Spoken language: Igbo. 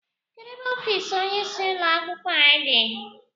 Kedu ebe ọfiisi ónyé isi ụlọ akwụkwọ a dị?